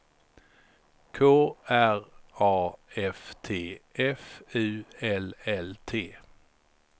K R A F T F U L L T